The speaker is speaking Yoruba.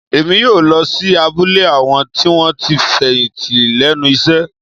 Èmi yóò lọ sí abúlé àwọn tí wọ́n ti fẹ̀yìntì lẹ́nu iṣẹ́